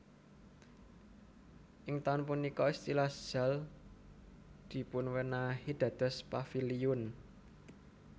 Ing taun punika istilah Zaal dipunéwahi dados Paviliun